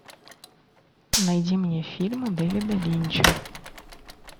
найди мне фильмы дэвида линча